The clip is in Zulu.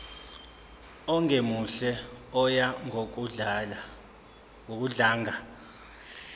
ongemuhle oya ngokudlanga